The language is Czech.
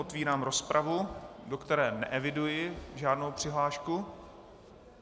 Otevírám rozpravu, do které neeviduji žádnou přihlášku.